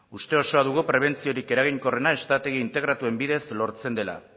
uste osoa dugu prebentziorik eraginkorrena estrategi integratuen bidez lortzen dela